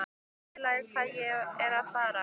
Skilurðu hvað ég er að fara?